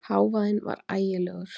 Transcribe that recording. Hávaðinn var ægilegur.